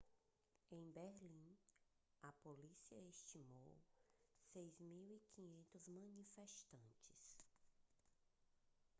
em berlim a polícia estimou 6.500 manifestantes